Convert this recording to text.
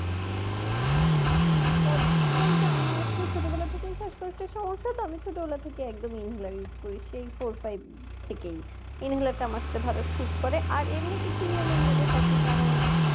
কি কি পদক্ষেপ বলতে আমার আসলে ছোটবেলা থেকেই শাসকষ্টের সমস্যা তো আমি ছোটবেলা থেকেই একদম inhaler use করি সেই four five থেকেই inhaler টা আমার ভালো suit করে আর এমনি কিছু নিয়মের মধ্যে থাকে যেমন